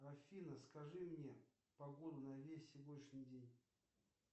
афина скажи мне погоду на весь сегодняшний день